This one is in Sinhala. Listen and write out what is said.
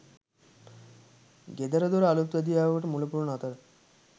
ගෙදරදොර අලුත්වැඩියාවකට මුලපුරන අතර